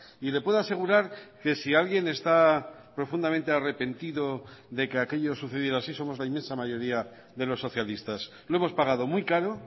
y le puedo asegurar que si alguien está profundamente arrepentido de que aquello sucediera así somos la inmensa mayoría de los socialistas lo hemos pagado muy caro